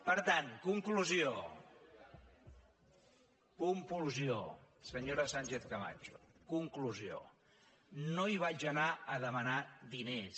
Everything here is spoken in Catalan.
per tant conclusió senyora sánchez camacho conclusió no hi vaig anar a demanar diners